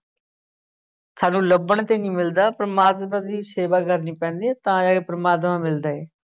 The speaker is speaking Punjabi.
ਸਾਨੂੰ ਲੱਭਣ ਤੇ ਨੀ ਮਿਲਦਾ, ਪ੍ਰਮਾਤਮਾ ਦੀ ਸੇਵਾ ਕਰਨੀ ਪੈਂਦੀ ਹੈ ਤਾਂ ਜਾ ਕੇ ਪ੍ਰਮਾਤਮਾ ਮਿਲਦਾ ਹੈ।